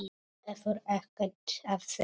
Hefur ekkert að segja.